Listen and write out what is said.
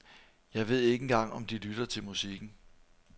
Jeg ved ikke engang om de lytter til musikken.